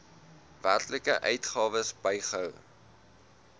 werklike uitgawes bygehou